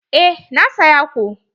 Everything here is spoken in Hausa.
Eh na saya ko.